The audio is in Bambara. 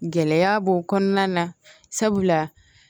Gɛlɛya b'o kɔnɔna na sabula